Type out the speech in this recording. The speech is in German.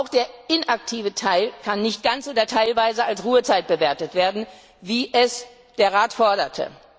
Auch der inaktive Teil kann nicht ganz oder teilweise als Ruhezeit bewertet werden, wie es der Rat forderte.